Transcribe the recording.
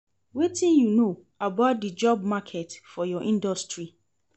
Wetin you know about di job market for your industry?